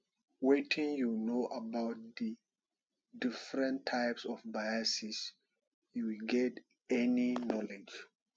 wetin you know about di different types of biases you get any knowledge